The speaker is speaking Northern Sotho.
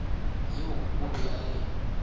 yeo o be a e